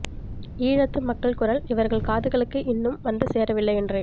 ஈழத்து மக்கள் குரல் இவர்கள் காதுகளுக்கு இன்னும் வந்து சேரவில்லை என்றே